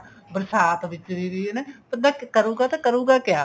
ਬਰਸਾਤ ਵਿੱਚ ਵੀ ਹਨਾ ਬੰਦਾ ਕਰੂਗਾ ਤਾਂ ਕਰੂਗਾ ਕਿਆ